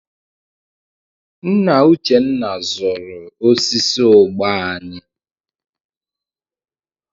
Nna Uchenna zụrụ osisi ụgba anyị.